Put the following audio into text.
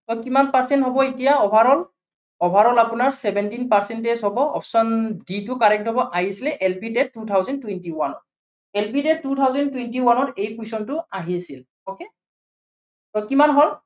so কিমান percent হ'ব এতিয়া overall, overall আপোনাৰ seventeen percentage হব option d টো correct হব, আহিছিলে LP, TET two thousand twenty one ত LP, TET two thousand twenty one ত এই question টো আহিছিলে okay so কিমান হ'ল?